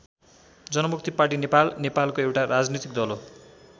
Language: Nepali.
जनमुक्ति पार्टी नेपाल नेपालको एउटा राजनीतिक दल हो।